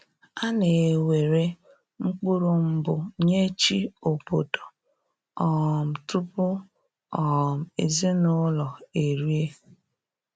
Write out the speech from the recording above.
A na ewere mkpụrụ mbụ nye chi obodo um tupu um ezinụlọ erie